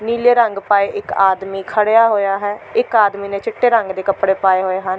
ਨੀਲੇ ਰੰਗ ਪਾਏ ਇੱਕ ਆਦਮੀ ਖੜ੍ਹਿਆ ਹੋਇਆ ਹੈ ਇੱਕ ਆਦਮੀ ਨੇ ਚਿੱਟੇ ਰੰਗ ਦੇ ਕਪੜੇ ਪਾਏ ਹੋਏ ਹਨ।